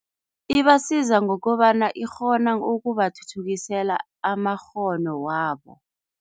Ibasiza ngokobana ikghona ukubathuthukisela amakghono wabo.